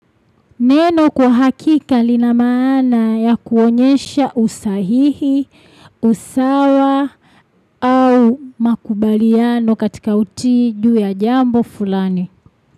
Neno kwa hakika linamaana ya kuonyesha usahihi, usawa au makubaliano katika utiju ya jambo fulani.